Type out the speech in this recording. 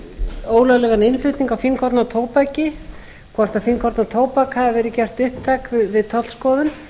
um ólöglegan innflutning á fínkorna tóbaki hvort fínkorna tóbak hafi verið gert upptækt við tollskoðun